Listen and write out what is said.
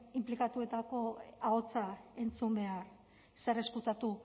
inplikatuetako ahotsa entzun behar zer ezkutatu